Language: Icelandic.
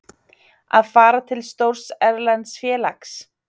Að fara til stórs erlends félags?